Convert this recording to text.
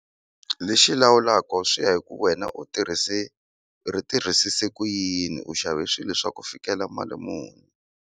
Lexi lawulaka swi ya hi ku wena u tirhise u ri tirhisise ku yini u xave swilo swa ku fikela mali muni.